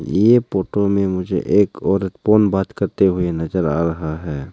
ये फोटो में मुझे एक औरत फोन बात करते हुए नजर आ रहा है।